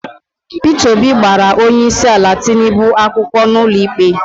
Peter Obi gbara onyeisiala Tinubu akwụkwọ n'ụlọikpe